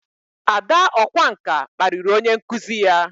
Ada ọkwá nkà kparịrị onye nkụzi ya